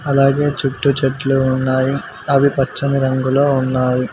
అలాగే చుట్టూ చెట్లు ఉన్నాయి అవి పచ్చని రంగులో ఉన్నాయి.